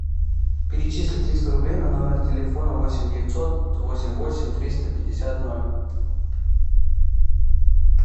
перечисли триста рублей на номер телефона восемь девятьсот восемь восемь триста пятьдесят ноль